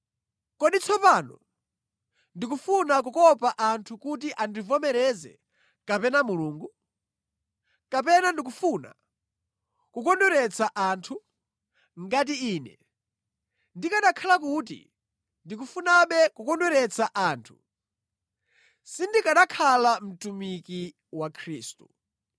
Kodi tsopano ndikufuna kukopa anthu kuti andivomereze, kapena Mulungu? Kapena ndikufuna kukondweretsa anthu? Ngati ine ndikanakhala kuti ndikufunabe kukondweretsa anthu, sindikanakhala mtumiki wa Khristu.